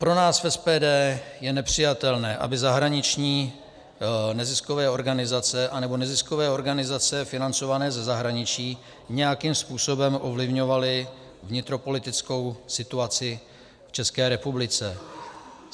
Pro nás v SPD je nepřijatelné, aby zahraniční neziskové organizace anebo neziskové organizace financované ze zahraničí nějakým způsobem ovlivňovaly vnitropolitickou situaci v České republice.